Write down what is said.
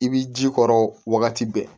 I b'i ji k'o wagati bɛɛ